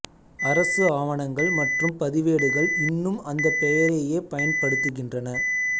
அரசு ஆவணங்கள் மற்றும் பதிவேடுகள் இன்னும் அந்த பெயரையே பயன்படுத்தகின்றன